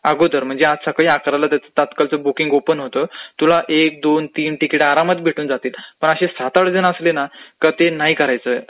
अगोदर म्हण जे चोविस तास अगोदर म्हणजे चोविस तास अगोदर म्हणजे आज सकाळी अकराला जायचं तर तात्काळचं बुकींग ओपन होतं, मग तुला एक, दोन, तीन तिकिटं आरामात भेटून जातील पण असे सात-आठ जण असले ना का ते नाही करायचं.